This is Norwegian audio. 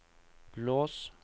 lås